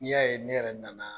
Ni y'a ye ne yɛrɛ nana